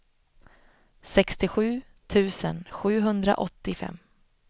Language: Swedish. sextiosju tusen sjuhundraåttiofem